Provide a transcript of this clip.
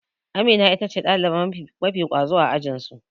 Amina itace ɗaliba mafi ƙwazo a ajinsu.